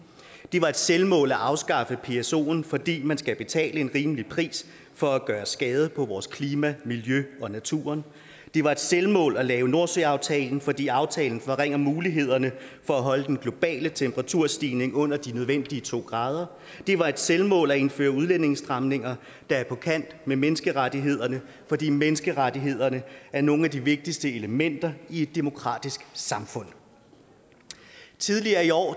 det var et selvmål at afskaffe psoen fordi man skal betale en rimelig pris for at gøre skade på vores klima miljø og natur det var et selvmål at lave nordsøaftalen fordi aftalen forringer mulighederne for at holde den globale temperaturstigning under de nødvendige to grader det var et selvmål at indføre udlændingestramninger der er på kant med menneskerettighederne fordi menneskerettighederne er nogle af de vigtigste elementer i et demokratisk samfund tidligere i år